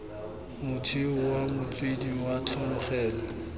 motheo wa motswedi wa tlholego